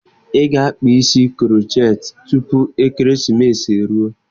Ị ga-akpa isi krocheetị tupu ekeresimesi e ruo